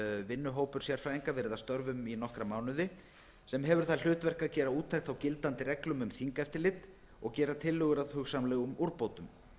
vinnuhópur sérfræðinga verið að störfum í nokkra mánuði sem hefur það hlutverk að gera úttekt á gildandi reglum um þingeftirlit og gera tillögur að hugsanlegum úrbótum